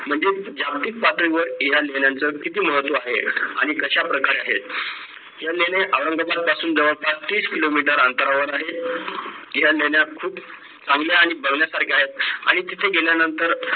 म्हणजेच जागतिक पातळीवर या लेण्यांचे किती महत्त्व आहे आणि कश्या प्रकारे आहे या लेण्या औरंगाबाद पासून जवळपास तीस किलोमीटर अंतरावर आहे या लेण्या खूप चांगल्या आणि बघण्यासारख्या आहेत आणि तिथे गेल्यानंतर